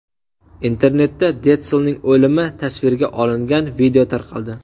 Internetda Detslning o‘limi tasvirga olingan video tarqaldi .